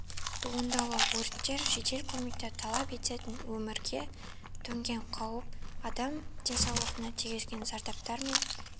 туындауы өрттер жедел көмекті талап ететін өмірге төнген қауіп адам денсаулығына тиген зардаптар мен